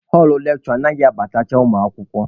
Họlụ lekshure anyị anaghị abatacha ụmụ akwụkwọ.